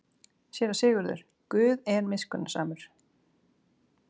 SÉRA SIGURÐUR: Guð er miskunnsamur.